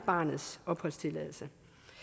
barnets opholdstilladelse